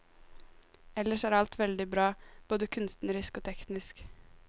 Ellers er alt veldig bra, både kunstnerisk og teknisk.